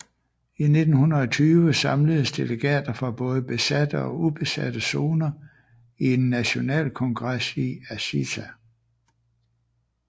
I 1920 samledes delegater fra både besatte og ubesatte zoner i en nationalkongres i Aziza